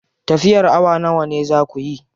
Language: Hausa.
Tafiyar awa nawa za kuyi?